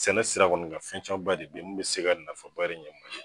Sɛnɛ sira kɔni kan fɛn camanba de be ye mun be se ka nafaba de ɲɛ mali ye